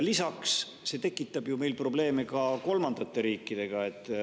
Lisaks tekitab see meil ju probleeme ka kolmandate riikidega.